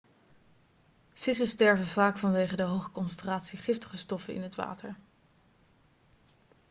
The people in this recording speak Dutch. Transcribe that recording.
vissen sterven vaak vanwege de hoge concentratie giftige stoffen in het water